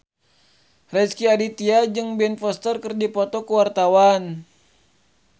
Rezky Aditya jeung Ben Foster keur dipoto ku wartawan